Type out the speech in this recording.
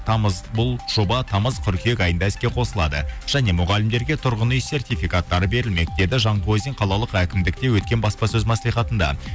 бұл жоба тамыз қыркүйек айында іске қосылады және мұғалімдерге тұрғын үй сертификаттары берілмек деді жанқозин қалалық әкімдікте өткен баспасөз маслихатында